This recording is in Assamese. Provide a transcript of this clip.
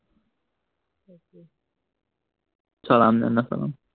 চলাম নে নচলাম